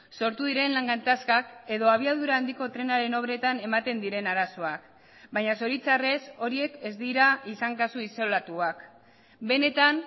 sortu diren lan gatazkak edo abiadura handiko trenaren obretan ematen diren arazoak baina zoritxarrez horiek ez dira izan kasu isolatuak benetan